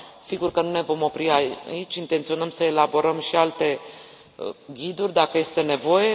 Sigur că nu ne vom opri aici, intenționăm să elaborăm și alte ghiduri dacă este nevoie.